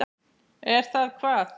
Er það hvað.